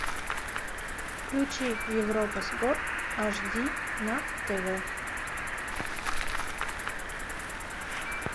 включи европа спорт ашди на тв